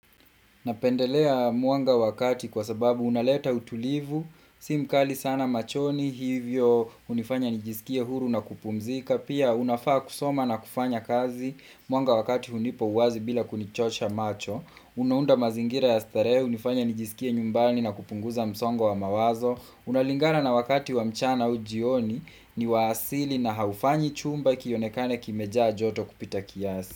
Napendelea mwanga wakati kwa sababu unaleta utulivu, si mkali sana machoni, hivyo unifanya nijisikie huru na kupumzika, pia unafaa kusoma na kufanya kazi mwanga wakati hunipa uwazi bila kunichosha macho, unaunda mazingira ya starehe, hunifanya nijisikie nyumbani na kupunguza msongo wa mawazo, unalingana na wakati wa mchana au jioni ni waasili na haufanyi chumba kionekane kimejaa joto kupita kiasi.